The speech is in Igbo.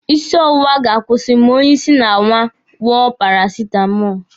Isi ọwụwa ga-akwụsị ma onye isi na-awọ ṅụọ parasitamọlụ